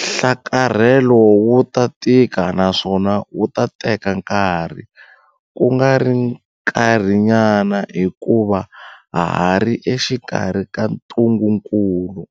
Nhlakarhelo wu ta tika naswona wu ta teka nkarhi, kungari nkarhinyana hikuva ha ha ri exikarhi ka ntungukulu.